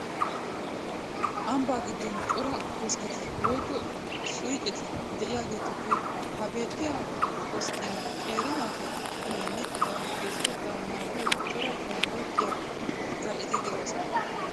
Ambbaa giddon cora koskketi woykko suyqeti de'iyageetuppe ha beettiya koskkiyan qeeri naatu qumaynne eta geeshshatettaa naagiyo cora bayzettiya zal"eti de'oosona.